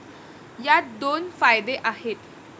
यात दोन फायदे आहेत.